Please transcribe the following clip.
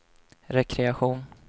rekreation